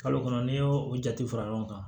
Kalo kɔnɔ n'i y'o o jate fara ɲɔgɔn kan